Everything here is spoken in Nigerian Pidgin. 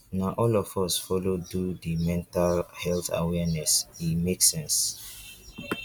na all of us folo do di mental health awareness e make sense.